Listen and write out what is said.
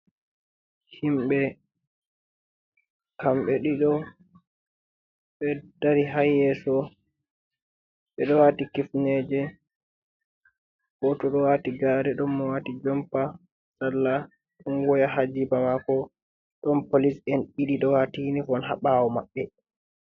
Himɓe, kamɓe ɗiɗo, ɓe dari haa yeso. Ɓe ɗo waati kifneje, goto ɗo waati gaare. Ɗon mo waati jompa, sarla. Ɗon waya haa jiba maako. Ɗon polis en ɗiɗi ɗo waati unifon haa ɓawo maɓɓe.